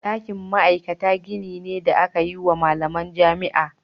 Ɗakin ma'aikata gini ne da aka yi wa malaman jami'a.